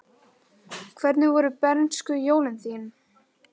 Hvernig voru bernskujólin þín?